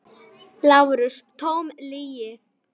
LÁRUS: Tóm lygi!